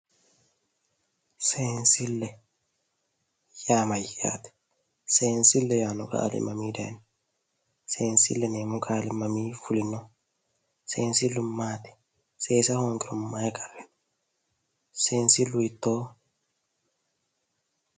Seensille yaa mayyaate seensille yaanno qaali mamii dayno seensille yineemmo qaai mamii fulinoho seensillu maati seesa hoogaahu marichi qarriiti seensilu hiittooho